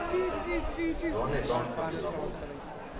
Vanlige barn kan vi stramme opp.